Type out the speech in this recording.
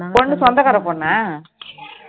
பொண்ணு சொந்த கார பொண்ணா